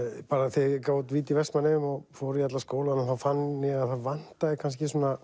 þegar ég gaf út víti í Vestmannaeyjum og fór í alla skólana þá fann ég að það vantaði kannski svona